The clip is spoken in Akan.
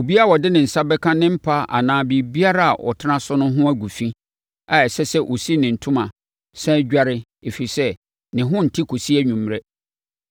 Obiara a ɔde ne nsa bɛka ne mpa anaa biribiara a ɔtena so no ho agu fi a ɛsɛ sɛ ɔsi ne ntoma, sane dware, ɛfiri sɛ, ne ho nte kɔsi anwummerɛ.